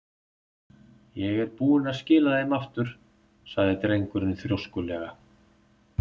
Ég er búinn að skila þeim aftur- sagði drengurinn þrjóskulega.